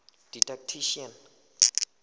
didactician